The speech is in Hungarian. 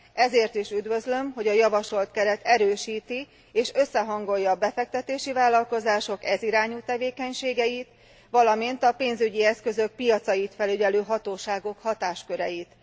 Ezért is üdvözlöm, hogy a javasolt keret erősíti és összehangolja a befektetési vállalkozások ez irányú tevékenységeit, valamint a pénzügyi eszközök piacait felügyelő hatóságok hatásköreit.